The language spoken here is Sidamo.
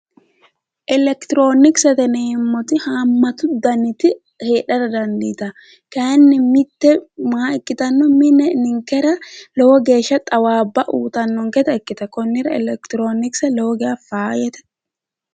Electrooniksete yineemmoti haammatu daniti heedhara dandiitanno kayinni mitte maa ikkitanno mine ninkera lowo geeshsha xawaabba uyitannonketa ikkitanno konnira electronikse lowo geeshsha faayyate